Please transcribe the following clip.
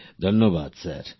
প্রেম জী ধন্যবাদ স্যার